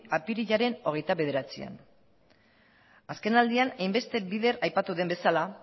apirilaren hogeita bederatzian azkenaldian hainbeste bider aipatu den bezala